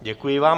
Děkuji vám.